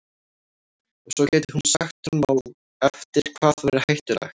Og svo gæti hún sagt honum á eftir hvað væri hættulegt.